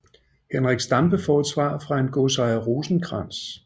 Henrik Stampe får et svar fra en godsejer Rosenkrantz